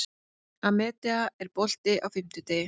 Amadea, er bolti á fimmtudaginn?